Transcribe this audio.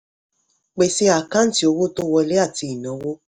pèsè àkáǹtì owó tó wọlé àti ìnáwó.